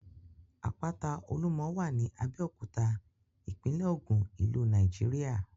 Àpáta Olúmọ wà ní Abéòkúta, ìpínlẹ̀ ògùn, ìlú Nàìjíríà.